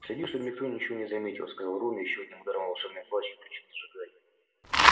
следи чтобы никто ничего не заметил сказал рон и ещё одним ударом волшебной палочки включил зажигание